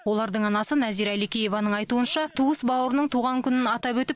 олардың анасы нәзира әликееваның айтуынша туыс бауырының туған күнін атап өтіп